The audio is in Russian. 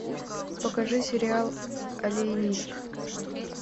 покажи сериал алиенист